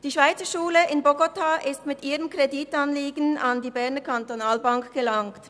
Die Schweizerschule in Bogotá ist mit ihrem Kreditanliegen an die BEKB gelangt.